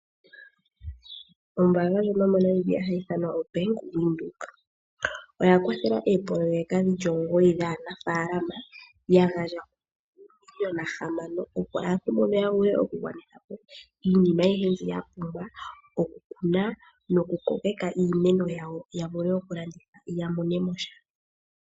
Oombanga ndjono yomoNamibia hayi ithanwa oBank Windhoek oya kwathela oopoloyeka dhi li omugoyi dhaanafalaama, ya gandja oomiliona hamano (N$ 6 000 000), opo aantu mbono ya vule okugwanitha po iinima ayihe mbyoka ya pumbwa okukuna nokukokeka iimeno yawo ya vule okulanditha ya mone mo sha.